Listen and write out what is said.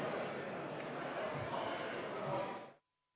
Istungi lõpp kell 10.39.